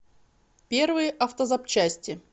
первые автозапчасти